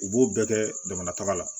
U b'o bɛɛ kɛ jamana taga la